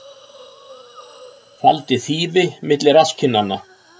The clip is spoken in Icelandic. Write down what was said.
Faldi þýfi milli rasskinnanna